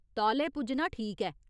तौले पुज्जना ठीक ऐ।